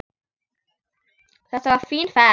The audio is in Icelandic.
Þetta verður fín ferð.